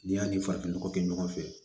N'i y'a ni farafin nɔgɔ kɛ ɲɔgɔn fɛ